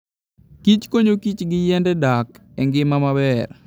kich konyokich gi yiende dak e ngima maber.